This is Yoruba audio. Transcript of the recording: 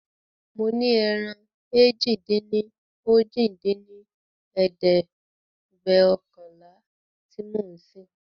mo ní ẹran èjì-dín-ní-ojì dín ní ẹ̀ẹ́dẹ́gbẹ́ọ̀kànlá tí mo ń sìn.